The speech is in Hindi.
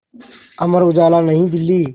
अमर उजाला नई दिल्ली